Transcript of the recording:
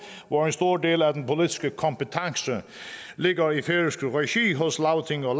hvor en stor del af den politiske kompetence ligger i færøsk regi hos lagting og